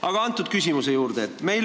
Aga nüüd küsimuse juurde.